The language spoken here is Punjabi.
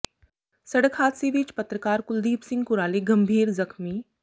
ਸੜਕ ਹਾਦਸੇ ਵਿੱਚ ਪੱਤਰਕਾਰ ਕੁਲਦੀਪ ਸਿੰਘ ਕੁਰਾਲੀ ਗੰਭੀਰ ਜ਼ਖ਼ਮੀ